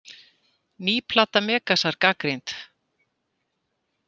Ný plata Megasar gagnrýnd